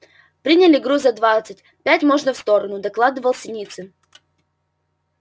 приняли груза двадцать пять можно в сторону докладывал синицын